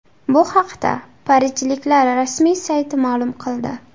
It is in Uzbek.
Bu haqda parijliklar rasmiy sayti ma’lum qildi .